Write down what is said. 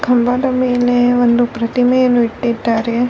ಕಂಭದ ಮೇಲೆ ಒಂದು ಪ್ರತಿಮೆಯನ್ನು ಇಟ್ಟಿದ್ದಾರೆ.